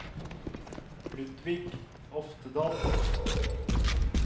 Ludvig Oftedal